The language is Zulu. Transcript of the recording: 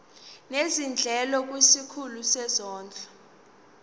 nezindleko kwisikhulu sezondlo